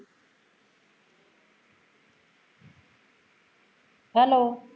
hello